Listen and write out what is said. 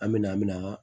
An me na an mina an